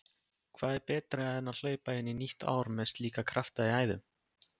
Hvað er betra en hlaupa inn í nýtt ár með slíka krafta í æðum?